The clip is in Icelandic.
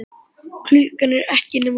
Klukkan er ekki nema fjögur.